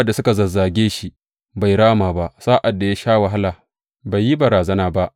Sa’ad da suka zazzage shi, bai rama ba; sa’ad da ya sha wahala, bai yi barazana ba.